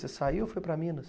Você saiu ou foi para Minas?